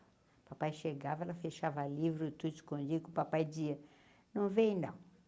O papai chegava, ela fechava livro, tudo escondido, que o papai dizia, não vem, não.